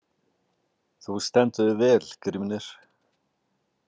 Þú stendur þig vel, Grímnir!